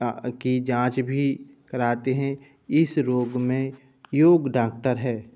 की जांच भी कराते हैं | इस रोग में योग्‍य डॉक्‍टर हैं ।